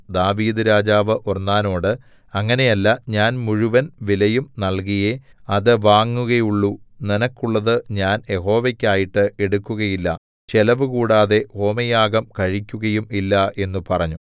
ദാവീദ്‌ രാജാവു ഒർന്നാനോട് അങ്ങനെ അല്ല ഞാൻ മുഴുവൻ വിലയും നൽകിയേ അത് വാങ്ങുകയുള്ളു നിനക്കുള്ളത് ഞാൻ യഹോവയ്ക്കായിട്ടു എടുക്കയില്ല ചെലവുകൂടാതെ ഹോമയാഗം കഴിക്കുകയും ഇല്ല എന്നു പറഞ്ഞു